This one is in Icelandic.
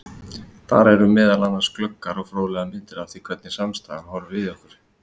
Þar eru meðal annars glöggar og fróðlegar myndir af því hvernig samstaðan horfir við okkur.